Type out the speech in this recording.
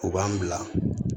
U b'an bila